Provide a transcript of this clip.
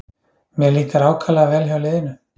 Mér líkar ákaflega vel hjá liðinu